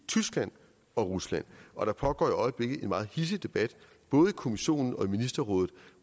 tyskland og rusland og der pågår i øjeblikket en meget hidsig debat både i kommissionen og ministerrådet